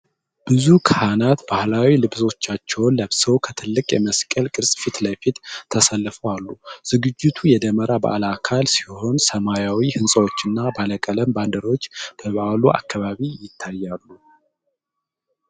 ብዙ ካህናት ባህላዊ ልብሳቸውን ለብሰው ከትልቅ የመስቀል ቅርጽ ፊት ለፊት ተሰልፈው አሉ። ዝግጅቱ የደመራ በዓል አካል ሲሆን፣ ሰማያዊ ሕንፃዎችና ባለቀለም ባንዲራዎች በበዓሉ አከባቢ ይታያሉ።